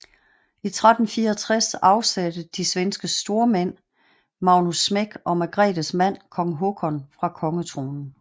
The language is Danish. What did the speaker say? I 1364 afsatte de svenske stormænd Magnus Smek og Margretes mand kong Håkon fra kongetronen